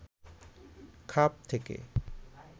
খাপ থেকে